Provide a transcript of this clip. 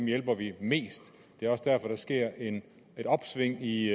hjælper vi mest det er også derfor der sker et opsving i